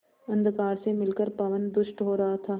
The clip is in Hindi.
अंधकार से मिलकर पवन दुष्ट हो रहा था